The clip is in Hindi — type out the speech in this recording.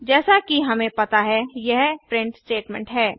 जैसा कि हमें पता है यह प्रिंट स्टेटमेंट है